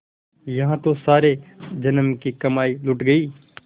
यहाँ तो सारे जन्म की कमाई लुट गयी